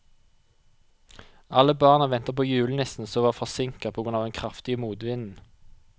Alle barna ventet på julenissen, som var forsinket på grunn av den kraftige motvinden.